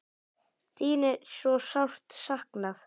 Þín er svo sárt saknað.